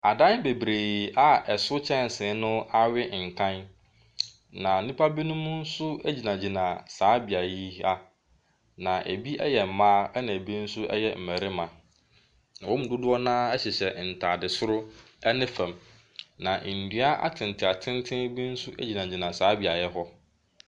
Adan bebree a ɛso kyɛnse no awe nkan, na nnipa binom nso gyinagyina saa beae yi, na ebi yɛ mmaa, ɛnna bi nso yɛ mmarima, na wɔn mu dodoɔ no ara hyehyɛ ntade soro ne fam, na nnua atentenatenten bi nso gyinagyina saa beaeɛ hɔ.